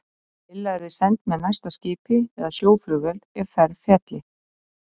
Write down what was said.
Lilla yrði send með næsta skipi eða sjóflugvél ef ferð félli.